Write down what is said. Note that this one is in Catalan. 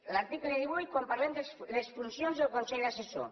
l’article divuit quan parlem de les funcions del consell assessor